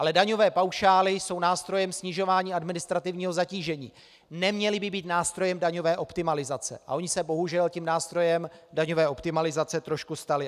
Ale daňové paušály jsou nástrojem snižování administrativního zatížení, neměly by být nástrojem daňové optimalizace, a ony se bohužel tím nástrojem daňové optimalizace trošku staly.